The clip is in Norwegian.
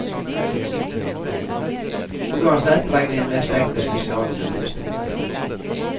Uansett regner jeg med stengte spesialrom i minst to år.